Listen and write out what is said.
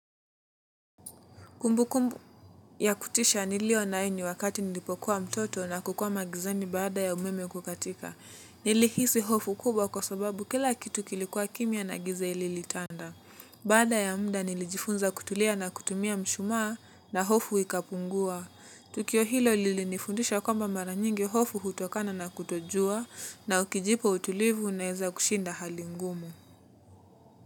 Kumbukumbu ya kutisha nilionayo ni wakati nilipokuwa mtoto na kukwama gizani baada ya umeme kukatika. Nilihisi hofu kubwa kwa sababu kila kitu kilikuwa kimya na giza lilitanda. Baada ya muda nilijifunza kutulia na kutumia mshumaa na hofu ikapungua. Tukio hilo lilinifundisha kwamba mara nyingi hofu hutokana na kutojua na ukijipa utulivu unaeza kushinda hali ngumu.